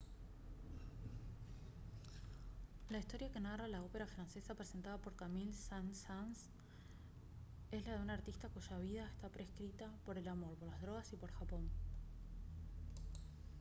la historia que narra la ópera francesa presentada por camille saint-saens es la de un artista «cuya vida está prescrita por el amor por las drogas y por japón»